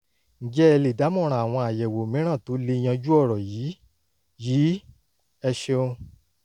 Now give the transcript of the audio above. ǹjẹ́ ẹ lè dámọ̀ràn àwọn àyẹ̀wò mìíràn tó lè yanjú ọ̀rọ̀ yìí? yìí? ẹ ṣeun!